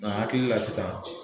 Nga n akili la sisan